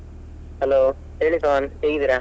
Hello ಹೇಳಿ ಪವನ್ ಹೇಗಿದ್ದೀರಾ?